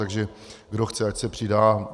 Takže kdo chce, ať se přidá.